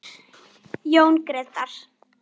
Jón Grétar.